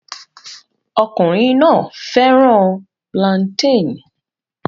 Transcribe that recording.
Ọkùnrin náà fẹ́ràn plantain